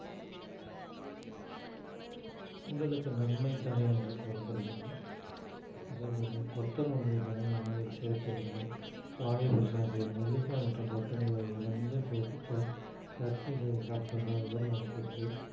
உடலுக்கு நன்மை தரும் என்று கூறப்படுகிறது அதே போல கொத்தமல்லியை தினமும் உணவில் சேர்த்து வந்தா வாயு பிரச்சனை தீரும் நெல்லிக்காய் மற்றும் கொத்தமல்லி ஆகிய இரண்டும் சேர்த்து ச~ சட்னி செய்து சாப்பிட்டு வந்தால் உடல் நலத்திற்கு